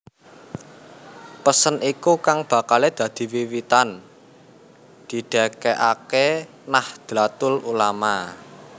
Pesen iku kang bakalé dadi wiwitan didêkaké Nahdlatul Ulama